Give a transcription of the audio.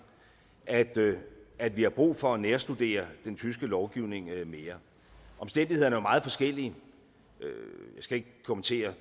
at vi har brug for at nærstudere den tyske lovgivning mere omstændighederne er meget forskellige jeg skal ikke kommentere